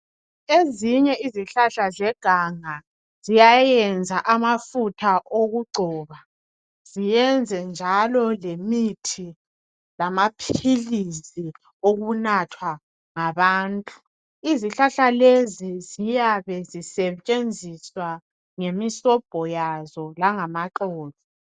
Ezinye izihlahla zeganga ziyayenza abafutha okugcoba, ziyenze njalo lemithi lamaphilisi okunathwa ngabantu. Izihlahla lezi ziyabe zisetshenziswa ngemisobho yazo langamaxolo.